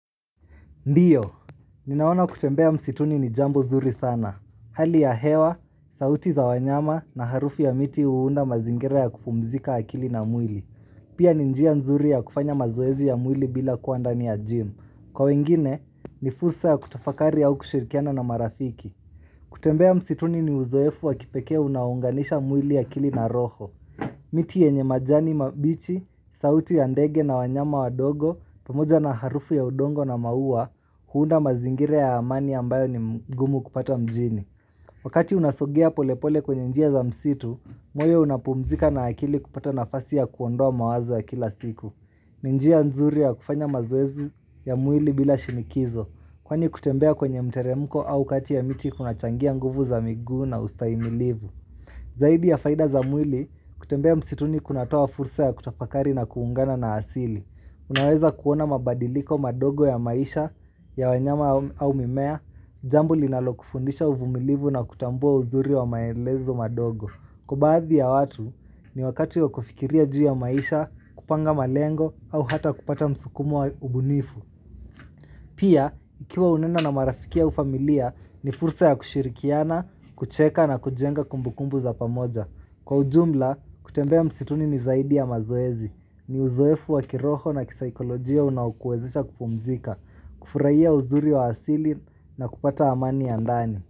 Ndio, ninaona kutembea msituni ni jambo zuri sana. Hali ya hewa, sauti za wanyama na harufu ya miti huunda mazingira ya kupumzika akili na mwili. Pia ni njia nzuri ya kufanya mazoezi ya mwili bila kua ndani ya gym. Kwa wengine, ni fursa ya kutafakari au kushirikiana na marafiki. Kutembea msituni ni uzoefu wa kipekee unaounganisha mwili akili na roho. Miti yenye majani mabichi, sauti ya ndege na wanyama wadogo, pamoja na harufu ya udongo na maua huunda mazingira ya amani ambayo ni mgumu kupata mjini Wakati unasogea polepole kwenye njia za msitu moyo unapumzika na akili kupata nafasi ya kuondoa mawazo ya kila siku ni njia nzuri ya kufanya maoezi ya mwili bila shinikizo Kwani kutembea kwenye mteremko au kati ya miti kuna changia nguvu za miguu na ustahimilivu Zaidi ya faida za mwili kutembea msituni kunatoa fursa ya kutafakari na kuungana na asili Unaweza kuona mabadiliko madogo ya maisha ya wanyama au mimea, jambo linalo kufundisha uvumilivu na kutambua uzuri wa maelezo madogo. Kwa baadhi ya watu ni wakati ya kufikiria juu ya maisha, kupanga malengo au hata kupata msukumo wa ubunifu. Pia, ikiwa hunena na marafiki au familia ni fursa ya kushirikiana, kucheka na kujenga kumbukumbu za pamoja. Kwa ujumla, kutembea msituni ni zaidi ya mazoezi, ni uzoefu wa kiroho na kisaikolojia unaokuwezesha kupumzika, kufurahia uzuri wa asili na kupata amani ya ndani.